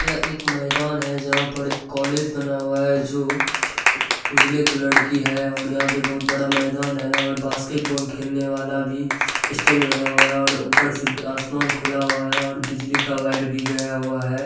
यह एक मैदान है जहाँ पर एक कॉलेज बना हुआ है जो उजले कलर की है और यहाँ पे बहुत बड़ा मैदान है और बॉस्केटबोल खलेने वाल भी स्टिंग लगा हुआ है और ऊपर से आसमान खुला हुआ है और बिजली वायर भी गया हुआ है।